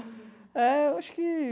É, eu acho que...